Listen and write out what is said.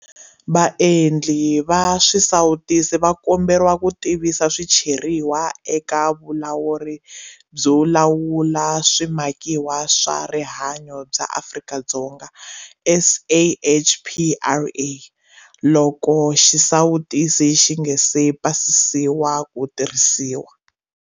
Vaendli va swisawutisi va komberiwa ku tivisa swicheriwa eka Vulawuri byo Lawula Swi makiwa swa Rihanyo bya Afrika-Dzonga, SAHPRA, loko xisawutisi xi nga si pasisiwa ku tirhisiwa.